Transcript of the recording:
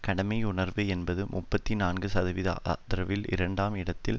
கடமையுணர்வு என்பது முப்பத்தி நான்கு சதவிகித ஆதரவில் இரண்டாம் இடத்திலும்